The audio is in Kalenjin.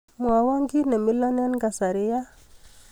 Mwawa kiiy nemiloo eng kasari yaa.